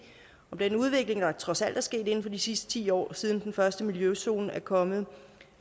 om den udvikling der trods alt er sket inden for de sidste ti år siden den første miljøzone er kommet